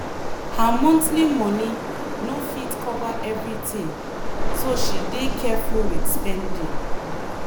her monthly moni no fit cover everything so she dey careful with spending.